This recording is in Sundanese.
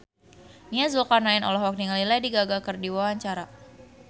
Nia Zulkarnaen olohok ningali Lady Gaga keur diwawancara